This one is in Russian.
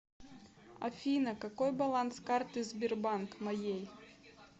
афина какой баланс карты сбербанк моей